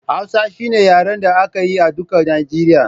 Hausa shine yaren da aka yi a duka Nijeriya